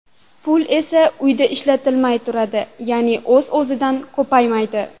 Pul esa uyda ishlatilmay turadi, ya’ni o‘z-o‘zidan ko‘paymaydi.